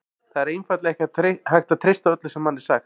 Það er einfaldlega ekki hægt að treysta öllu sem manni er sagt.